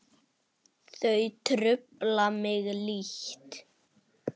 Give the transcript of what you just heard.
Þau trufla mig lítt.